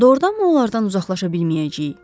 Doğrudanmı onlardan uzaqlaşa bilməyəcəyik?